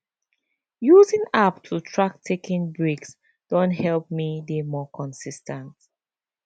using app to track taking breaks don help me dey more consis ten t